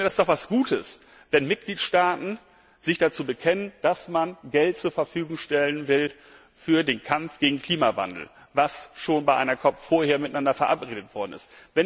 Ich finde, das ist doch etwas Gutes, wenn Mitgliedstaaten sich dazu bekennen, dass man Geld zur Verfügung stellen will für den Kampf gegen den Klimawandel, was schon bei einer COP vorher miteinander verabredet worden ist.